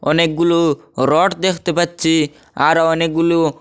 অনেকগুলো রড দেখতে পাচ্ছি আরও অনেকগুলো--